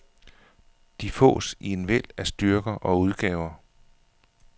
De fås i en væld af styrker og udgaver.